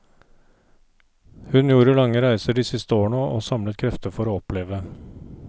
Hun gjorde lange reiser de siste årene og samlet krefter for å oppleve.